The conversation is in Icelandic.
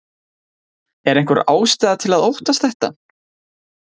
Er einhver ástæða til að óttast þetta?